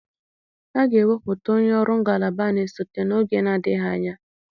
A ga-ewepụta onye ọrụ ngalaba na-esote n'oge na-adịghị anya.